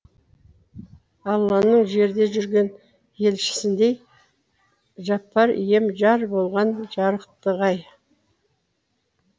алланың жерде жүрген елшісіндей жаппар ием жар болған жарықтық ай